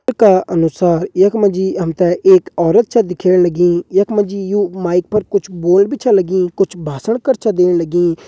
चित्र का अनुसार यख मा जी हम ते एक औरत छा दिखेण लगीं यख मा जी ये माइक पर कुछ बोलन भी छ लगीं कुछ भाषण कर छा देण लगीं।